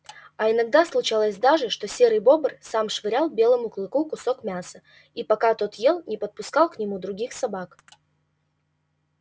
а иногда случалось даже что серый бобр сам швырял белому клыку кусок мяса и пока тот ел не подпускал к нему других собак